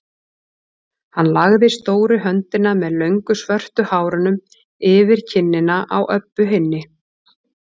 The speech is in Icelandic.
Hann lagði stóru höndina með löngu svörtu hárunum yfir kinnina á Öbbu hinni.